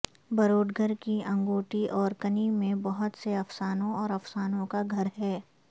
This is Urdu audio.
بروڈگر کی انگوٹی اورکنی میں بہت سے افسانوں اور افسانوں کا گھر ہے